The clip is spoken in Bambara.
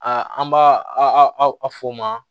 A an b'a a fɔ o ma